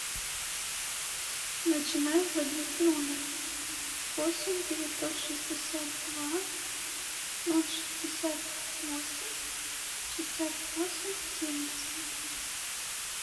начинай вводить номер восемь девятьсот шестьдесят два ноль шестьдесят восемь шестьдесят восемь семьдесят